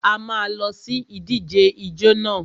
A má a lọ sí ìdíje ijó nà.